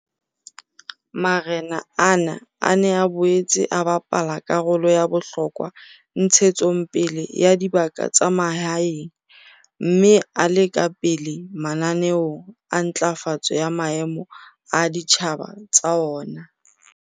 Marena ana a ne a boetse a bapala karolo ya bohlokwa ntshetsong pele ya dibaka tsa mahaeng mme a le ka pele mananeong a ntlafatso ya maemo a ditjhaba tsa ona.